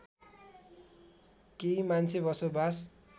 केही मान्छे बसोबास